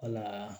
Wala